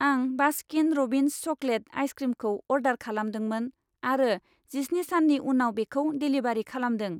आं Baskin Robbins chocolate आइसक्रिमखौ order खालामदोंमोन आरो जिस्नि साननि उनाव बेखौ डेलिबारि खालामदों।